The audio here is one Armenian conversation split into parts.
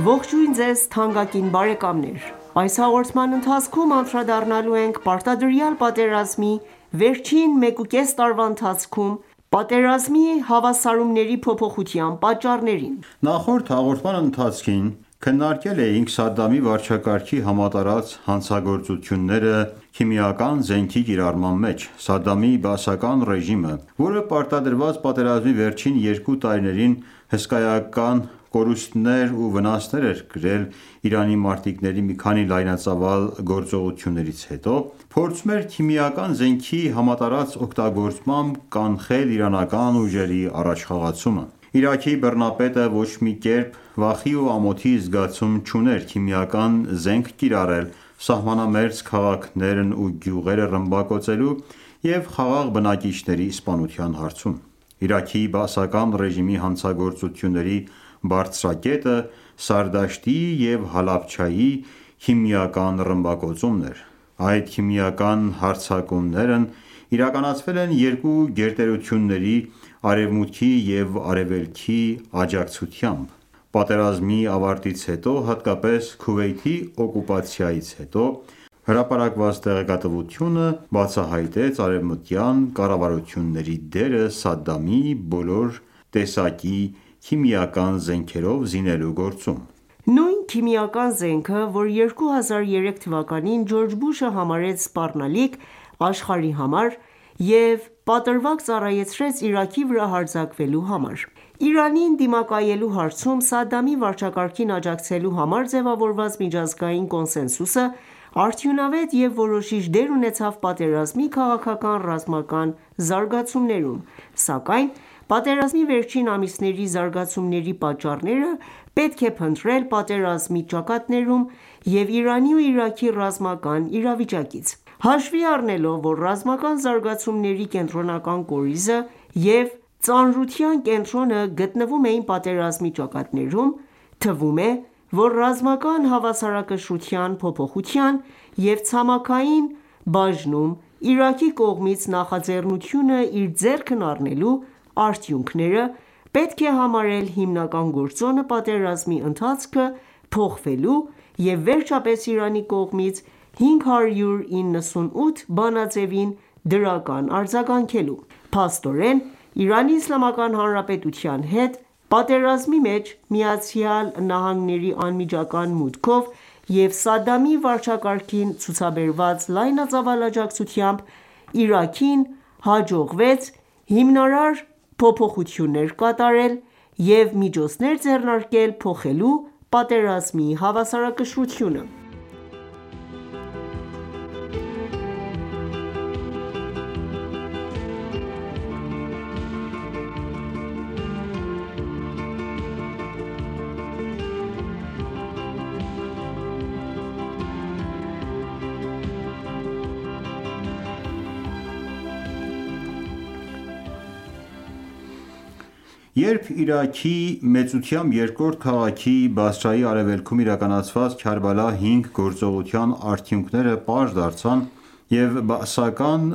Ողջույն ձեզ թանկագին բարեկամներ: Այս հաղոորդման ընթացքում անդրադառնալու ենք պարտադրյալ պատերազմի վերջին մեկ ու կես տարվա ընթացքում պատերազմի հավասարումների փոփոխության պատառներին: Նախորդ հաղորդման ընթացքում անդրադարձել էինք Իարքի նախկին բռնապետ Սադղամի վարչակարգի կողմից քիմիական զենքի կիրառմանը: Սադդամի բաասական ռեժիմը, որն Իրանին պարտադրված պատերազմի վերջին երկու տարիներին հսկայական կորուստներ ու վնասներ էր կրել իրանցի մարտիկների մի քանի լայնածավալ գործողություններից հետո, փորձում էր քիմիական զենքի կիրառմամբ կանխել իրանական ուժերի առաջխաղացումը։ Իրաքի բռնապետը վախի ու ամոթի զգացում չուներ սահմանամերձ քաղաքներն ու գյուղերը քիմիական զենքով ռմբակոծելու և խաղաղ բնակիչների սպանության հարցում: Իրաքի բաասական ռեժիմի հանցագործությունների բարձրակետը Սարդաշտի և Հալաբչեի քիմիական ռմբակոծումն էր։ Այդ քիմիական հարձակումներն իրականացվել են Արևմուտքի և Արևելքի աջակցությամբ։ Պատերազմի ավարտից հետո, հատկապես Քուվեյթի օկուպացիայից հետո հրապարակված տեղեկատվությունը բացահայտեց արևմտյան կառավարությունների դերը Սադդամին բոլոր տեսակի քիմիական զենքերով զինելու գործում։ Նույն քիմիական զենքը, որ 2003 թվականին Ջորջ Բուշը համարեց սպառնալիք աշխարհի համար և պատրվակ ծառայեցրեց Իրաքի վրա հարձակվելու համար։ Իրանին դիմակայելու հարցում Սադդամի վարչակարգին աջակցելու համար ձևավորված միջազգային կոնսենսուսը արդյունավետ և որոշիչ դեր ունեցավ պատերազմի քաղաքական-ռազմական զարգացումներում, սակայն պատերազմի վերջին ամիսների զարգացումները պետք է փնտրել պատերազմի ճակատներում և Իրանի ու Իրաքի ռազմական իրավիճակը քննարկելով: Հաշվի առնելով, որ ռազմական զարգացումների կորիզը և ծանրության կենտրոնը գտնվում էին պատերազմի ճակատներում, թվում է, որ ռազմական հավասարակշռության փոփոխության և «ցամաքային բաժնում Իրաքի կողմից նախաձեռնությունը իր ձեռքն առնելու» արդյունքները պետք է համարել պատերազմի ընթացքը փոխվելու և վերջապես Իրանի կողմից 598 բանաձևին դրական արձագանքելու հիմնական գործոնը: ԻԻՀ-ի հետ պատերազմի մեջ ԱՄՆ-ի անմիջական մուտքով և Սադդամի վարչակարգին ցուցաբերված լայնածավալ աջակցությամբ Իրաքին հաջողվեց հիմնարար փոփոխություններ կատարել և միջոցներ ձեռնարկել՝ փոխելու պատերազմի հավասարակշռությունը։ Երբ Իրաքի մեծությամբ երկրորդ քաղաքի՝ Բասրայի արևելքում իրականացված «Քարբալա 5» գործողության արդյունքները պարզ դարձան և բաասական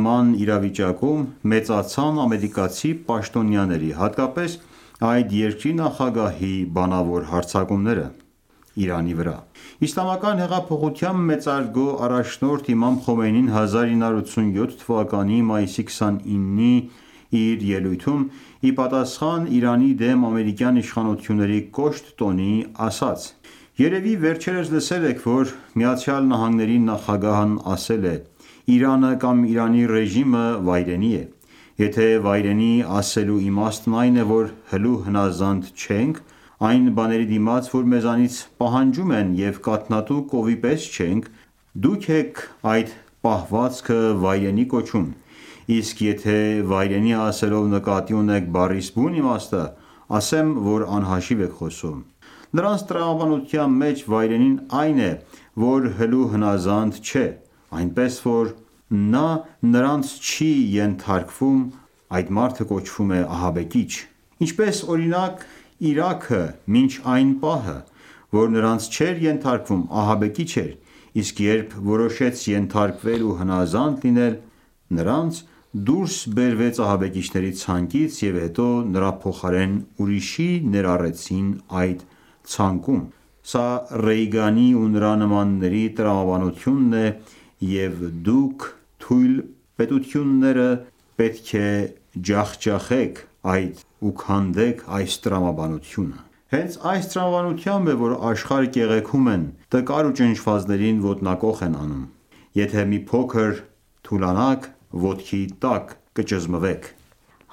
բանակը կրեց մեծ տոնն հետզհետե ավելի կոշտացավ։ Նման իրավիճակում ավելացան ամերիկացի պաշտոնյաների, հատկապես այդ երկրի նախագահի մեղադրանքներն ուղղված Իրանի դեմ։ Իսլամական հեղափոխության մեծարգո առաջնորդ Իմամ Խոմեյնին 1987 թվականի մայիսի 29-ին իր ելույթում ի պատասխան ԻԻՀ-ի դեմ ամերիկյան իշխանությունների կոշտ հայտարարությունների, ասել է. «Երևի վերջերս լսել էք, որ ԱՄՆ-ի նախագահն ասել է, թե Իրանը կամ Իրանի ռեժիմը վայրենի է: Եթե վայրենի ասելու իմաստն այն է, որ հլու հնազանդ չենք, այն բաների դիմաց որ մեզանից պահանջում են և կաթնատու կովի պես չենք, դուք էք այդ պահվածքը վայրենի կոչում, իսկ եթե վայրենի ասելով նկատի ունեք բառիս բուն իմաստը ասեմ, անիմաստ էք խոսում... Նրանց տրամաբանության մեջ վայրենին այն է, որ հլու հնազանդ չէ, իսկ նա որ իրենց չի ենթարկվում կոչվում է ահաբեկիչ: Ինչպես օրինակ Իրաքը մինչ այն պահը, որ նրանց չէր ենթարկվում ահաբեկիչ էր, իսկ երբ որոշեց ենթարկվել ու հնազանդ լինել, դուրս բերվեց ահաբեկիչների ցանկից և հետո նրա փոխարեն ուրիշի ներառեցին այդ ցանկում... Սա Ռեյգանի ու նրա նմանների տրամաբանություննն է և դուք ու թույլ պետությունները պետք է ջախջախեն ու քանդեն այս տրամաբանությունը: Հենց այս տրամաբանությամբ է, որ աշխարը կեղեքում են, տկարներին ոտնակոխ են անում: Եթե մի փոքր թուլանաք, կճզմվեք»: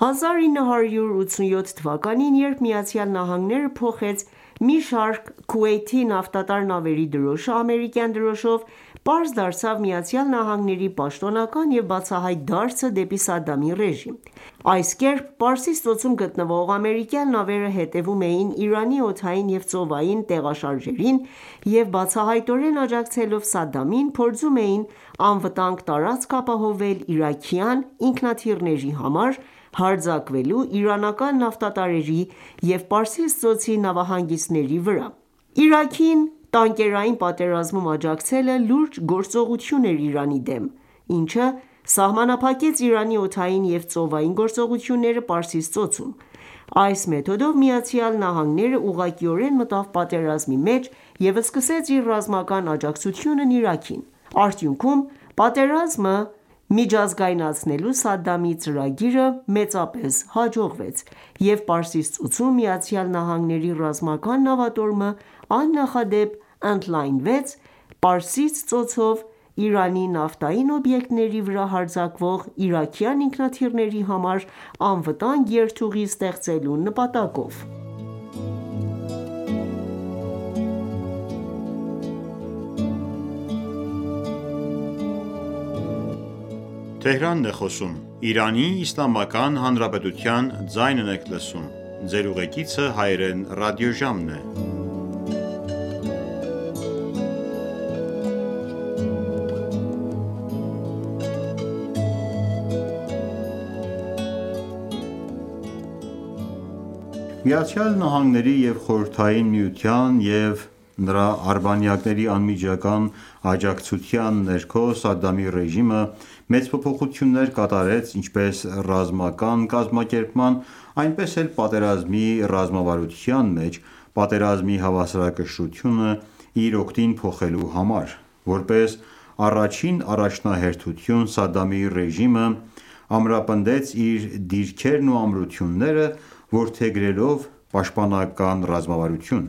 1987 թվականին, երբ Միացյալ Նահանգները Քուվեյթի մի խումբ նավթատար նավերի դրոշը փոխարինե ամերիկյան դրոշով, պարզ դարձավ ԱՄՆ պաշտոնական և բացահայտ դարձը դեպի Սադդամի ռեժիմ: Այս կերպ Պարսից ծոցում գտնվող ամերիկյան նավերը հետևում էին Իրանի օդային և ծովային տեղաշարժերին և բացահայտորեն աջակցելով Սադդամին, փորձում էին անվտանգ տարածք ապահովել իրաքյան ինքնաթիռների համար՝ իրանական նավթատարների և Պարսից ծոցի նավահանգիստների վրա հարձակվելու համար: Իրաքին տանկերային պատերազմում աջակցելը լուրջ գործողություն էր Իրանի դեմ, ինչը սահմանափակեց Իրանի օդային և ծովային գործողությունները Պարսից ծոցում: Այս մեթոդով ԱՄՆ-ն ​​ուղղակիորեն մտավ պատերազմի մեջ և սկսեց իր ռազմական աջակցությունն Իրաքին։ Արդյունքում, պատերազմը միջազգայնացնելու Սադամի ծրագիրը հաջողվեց, և Պարսից ծոցում ԱՄՆ-ի ռազմական նավատորմը աննախադեպ ընդլայնվեց՝ Պարսից ծոցով Իրանի նավթային օբյեկտների վրա հարձակվող իրաքյան ինքնաթիռների համար անվտանգ երթուղի ստեղծելու նպատակով: Միացյալ Նահանգների և Խորհրդային Միության և նրա արբանյակների անմիջական աջակցության ներքո Սադդամի ռեժիմը մեծ փոփոխություններ կատարեց ինչպես ռազմական կազմակերպման, այնպես էլ պատերազմի ռազմավարության մեջ՝ պատերազմի հավասարակշռությունը իր օգտին փոխելու համար: Որպես առաջնահերթություն, Սադդամի ռեժիմն ամրապնդեց իր դիրքերն որդեգրելով պաշտպանական ռազմավարություն։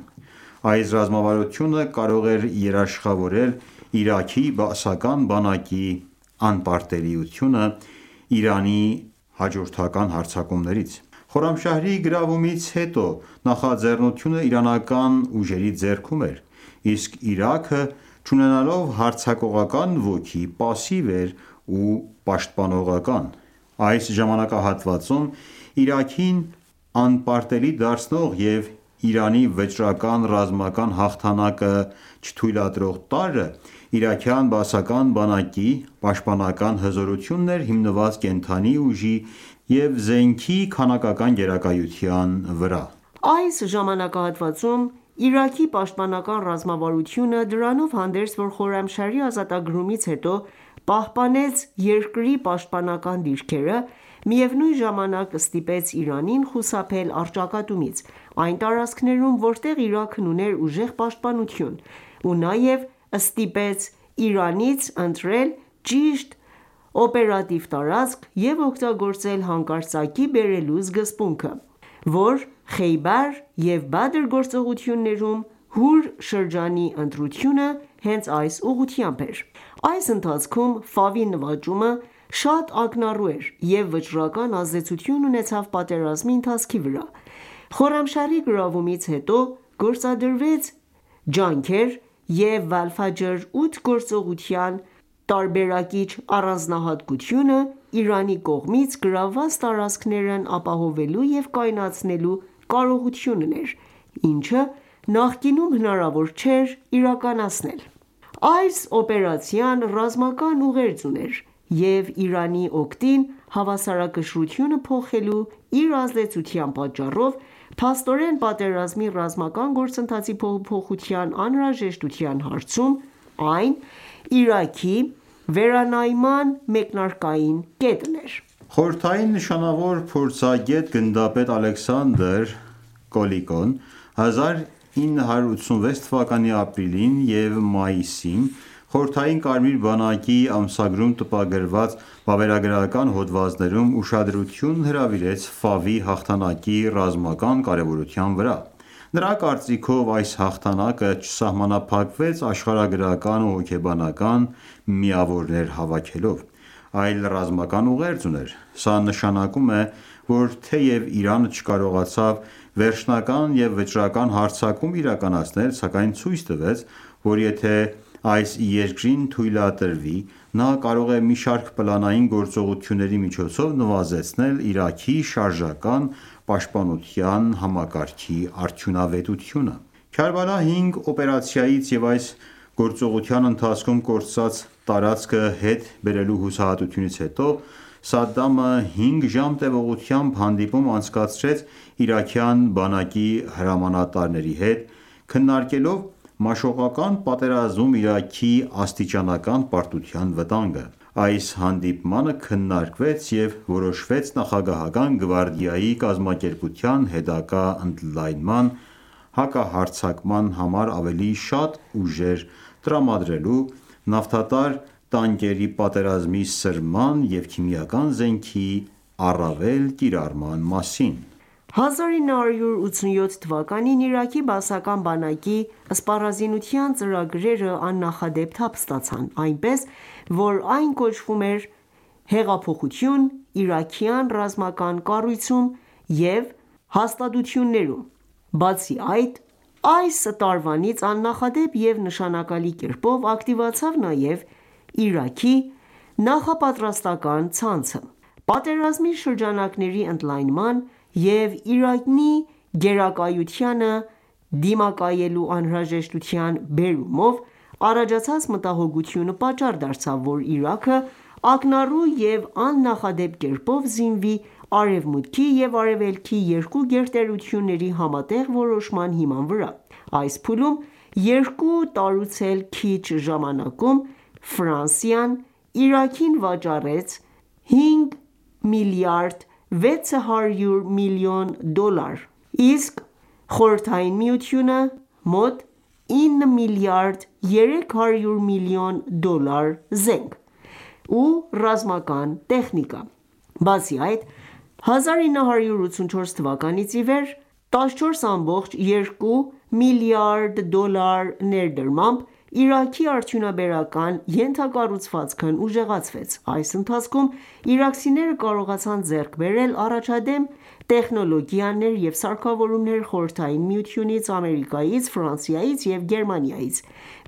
Այս ռազմավարությունը կարող էր երաշխավորել Իրաքի բաասական բանակի անպարտելիությունը Իրանի հաջորդական հարձակումներից: Խոռամշահրի գրավումից հետո նախաձեռնությունը իրանական ուժերի ձեռքում էր, իսկ Իրաքը, չունենալով հարձակողական ոգի, պասիվ էր ու պաշտպանողական դիրքորոշում էր որդեգրել։ Այս ժամանակահատվածում Իրաքին անպարտելի դարձնող և Իրանի վճռական ռազմական հաղթանակը չթույլատրող տարրը, իրաքյան բաասական բանակի պաշտպանական հզորությունն էր՝ հիմնված կենդանի ուժի և զենքի քանակական գերազանցության վրա: Այս ժամանակահատվածում, չնայած Իրաքի պաշտպանական ռազմավարությունը, Խոռամշահրի ազատագրումից հետո պահպանեց երկրի պաշտպանական դիրքերը, միևնույն ժամանակ ստիպեց Իրանին խուսափել առճակատումից այն տարածքներում, որտեղ Իրաքն ուներ ուժեղ պաշտպանություն, ու նաև ստիպեց Իրանին ընտրել ճիշտ օպերատիվ տարածք և օգտագործել «հանկարծակիի» բերելու սկզբունքը: Խեյբար և Բադր գործողություններում «Հուր» շրջանի ընտրությունը հենց այս նպատակն էր հետապնդում։ Այս ընթացքում Ֆաովի նվաճումը շատ ակնառու էր և վճռական ազդեցություն ունեցավ պատերազմի ընթացքի վրա։ Խոռամշահրի գրավումից հետո գործադրված ջանքերի և «Վալֆաջր 8» գործողության տարբերակիչ առանձնահատկությունը Իրանի կողմից գրավված տարածքներն ապահովելու և կայունացնելու կարողությունն էր, ինչը նախկինում հնարավոր չէր իրականացնել: Այս օպերացիան ռազմական ուղերձ ուներ, և Իրանի օգտին հավասարակշռությունը փոխելու իր ազդեցության պատճառով, փաստորեն, պատերազմի ռազմական գործընթացի փոփոխության անհրաժեշտության հարցում, այն, Իրաքի վերանայման մեկնարկային կետն էր։ Խորհրդային նշանավոր փորձագետ, գնդապետ Ալեքսանդր Կոլիկոն 1986 թվականի ապրիլին և մայիսին Խորհրդային Կարմիր բանակի ամսագրում տպագրված վավերագրական հոդվածներում ուշադրություն հրավիրեց Ֆավի հաղթանակի ռազմական կարևորության վրա։ Նրա կարծիքով՝ այս հաղթանակը չսահմանափակվեց աշխարհագրական ու հոգեբանական միավորներ հավաքելով, այլ ռազմական ուղերձ ուներ: Սա նշանակում է, որ թեև Իրանը չկարողացավ վերջնական և վճռական հարձակում իրականացնել, սակայն ցույց տվեց, որ եթե այս երկրին թույլատրվի, նա կարող է մի շարք պլանային գործողությունների միջոցով նվազեցնել Իրաքի շարժական պաշտպանության համակարգի արդյունավետությունը։ Պատերազմի ժամանակ Իրանցի ռազմիկների մարտական բարձր ոգին ստեղծեց գերազանցությունը հօգուտ Իրանի Քարբալա 5 օպերացիայից և այս գործողության ընթացքում կորցրած տարածքը հետ բերելու հուսահատությունից հետո Սադամը հինգ ժամ տևողությամբ հանդիպում անցկացրեց իրաքյան բանակի հրամանատարների հետ՝ քննարկելով «մաշողական պատերազմում» Իրաքի աստիճանական պարտության վտանգը։ Այս հանդիպմանը քննարկվել էր և որոշվել նախագահական գվարդիայի կազմակերպության հետագա ընդլայնման, հակահարձակման համար ավելի շատ ուժեր տրամադրելու, նավթատար տանկերի պատերազմի սրման և քիմիական զենքի առավել կիրառման մասին։ 1987 թվականին Իրաքի բաասական բանակի սպառազինության ծրագրերը աննախադեպ թափ ստացան, այնպես որ այն կոչվում է «հեղափոխություն իրաքյան ռազմական կառույցում և հաստատությունում»։ Բացի այդ, այս տարվանից աննախադեպ և նշանակալի կերպով ակտիվացավ նաև Իրաքի նախապատրաստական ցանցը։ «Պատերազմի շրջանակների ընդլայնման» և «Իրանի գերակայությանը դիմակայելու անհրաժեշտության» բերումով առաջացած մտահոգությունը պատճառ դարձավ, որ Իրաքը ակնառու և աննախադեպ կերպով զինվի Արևմուտքի և Արևելքի երկու գերտերությունների համատեղ որոշման հիման վրա։ Այս փուլում՝ երկու տարուց էլ քիչ ժամանակում, Ֆրանսիան Իրաքին վաճառեց է 5,6 մլրդ դոլար, իսկ Խորհրդային Միությունը՝ մոտ 9,3 մլրդ դոլարի զենք ու ռազմական տեխնիկա։ Բացի այդ, 1984 թվականից ի վեր 14,2 միլիարդ դոլար ներդրմամբ Իրաքի արդյունաբերական ենթակառուցվածքն ուժեղացվեց: Այս ընթացքում իրաքցիները կարողացան ձեռք բերել առաջադեմ տեխնոլոգիաներ և սարքավորումներ Խորհրդային Միությունից, Ամերիկայից, Ֆրանսիայից և Գերմանիայից: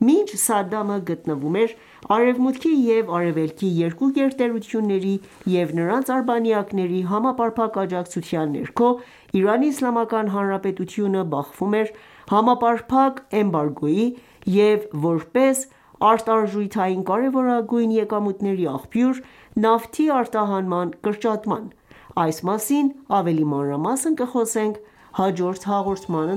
Մինչ Սադամը գտնվում էր Արևմուտքի և Արևելքի երկու գերտերությունների և նրանց արբանյակների համապարփակ աջակցության ներքո, ԻԻՀ-ն բախվում էր համապարփակ էմբարգոյի և, որպես արտարժութային կարևորագույն եկամուտների աղբյուր, նավթի արտահանման կրճատման: Այս մասին ավելի մանրամասն կխոսենք հաջորդ հաղորդման